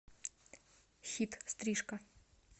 хит стрижка